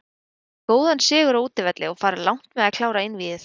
Þeir vinna góðan sigur á útivelli og fara langt með að klára einvígið.